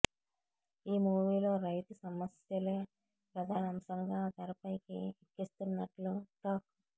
ఈ మూవీలో రైతు సమ్యస్యలే ప్రధాన అంశంగా తెరపైకి ఎక్కిస్తున్నట్లు టాక్